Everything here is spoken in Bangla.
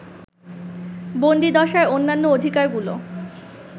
বন্দীদশার অন্যান্য অধিকারগুলো